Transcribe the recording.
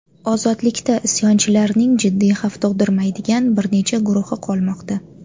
Ozodlikda isyonchilarning jiddiy xavf tug‘dirmaydigan bir necha guruhi qolmoqda.